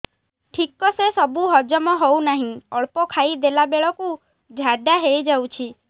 ଠିକସେ ସବୁ ହଜମ ହଉନାହିଁ ଅଳ୍ପ ଖାଇ ଦେଲା ବେଳ କୁ ଝାଡା ହେଇଯାଉଛି